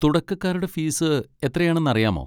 തുടക്കകാരുടെ fees എത്രയാണെന്ന് അറിയാമോ?